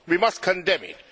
We must condemn it.